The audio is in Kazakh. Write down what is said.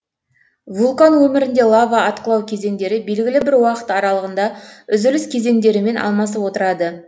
вулкан өмірінде лава атқылау кезеңдері белгілі бір уақыт аралығында үзіліс кезеңдерімен алмасып отырады